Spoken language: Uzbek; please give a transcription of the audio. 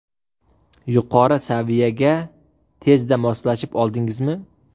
Yuqori saviyaga tezda moslashib oldingizmi?